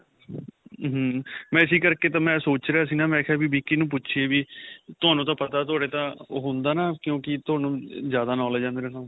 ਹਮਮ ਮੈਂ ਇਸੀ ਕਰਕੇ ਤਾਂ ਮੈਂ ਸੋਚ ਰਿਹਾ ਸੀ ਨਾ. ਮੈਂ ਕਿਹਾ ਵੀ ਵਿਕੀ ਨੂੰ ਪੁੱਛੀਏ ਵੀ ਤੁਹਾਨੂੰ ਤਾਂ ਪਤਾ, ਤੁਹਾਡੇ ਤਾਂ ਓਹ ਹੁੰਦਾ ਨਾਂ ਕਿਉਂਕਿ ਤੁਹਾਨੂੰ ਜਿਆਦਾ knowledge ਹੈ ਨਾ ਮੇਰੇ ਨਾਲੋ .